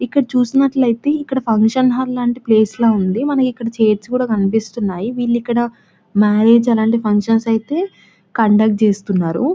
ఇక్కడ చూసినట్టయితే function hall ల ప్లేస్ ఉంది. మనం ఇక్కడ చైర్స్ కూడా కనిపిస్తున్నాయి వీళ్లు ఇక్కడ మ్యారేజ్ అలాంటి ఫంక్షన్స్ అయితే కండక్ట్ చేస్తున్నారు.